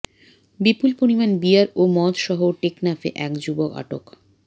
বিপুল পরিমাণ বিয়ার ও মদসহ টেকনাফে এক যুবক আটক